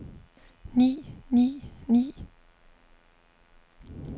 ni ni ni